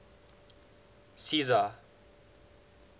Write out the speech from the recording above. czar